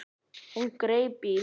Hún greip í